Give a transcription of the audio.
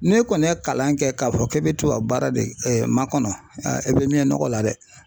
Ne kɔni ye kalan kɛ k'a fɔ k'e bɛ tubabu baara de kɛ makɔnɔ e bɛ mɛɛn nɔgɔ la dɛ